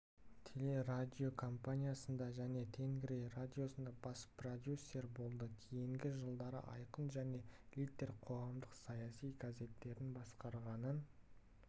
телерадиокомпаниясында және тенгри радиосында бас продюсер болды кейінгі жылдары айқын және литер қоғамдық-саяси газеттерін басқарғанын